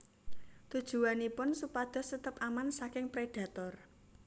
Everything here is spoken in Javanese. Tujuwanipun supados tetep aman saking prédhator